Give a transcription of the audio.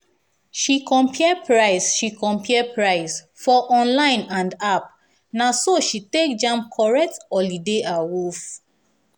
she compare price she compare price for online and app naso she take jam correct holiday awoof.